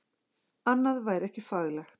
Annað væri ekki faglegt